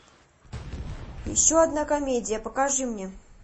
еще одна комедия покажи мне